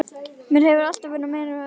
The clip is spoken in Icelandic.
Mér hefur alltaf verið meinilla við þá.